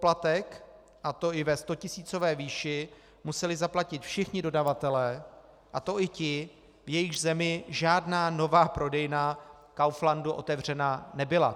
Poplatek, a to i ve stotisícové výši, museli zaplatit všichni dodavatelé, a to i ti, v jejichž zemi žádná nová prodejna Kauflandu otevřena nebyla.